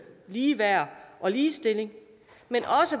ligeværd og ligestilling men